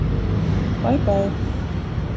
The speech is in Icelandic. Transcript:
Bæ Bæ.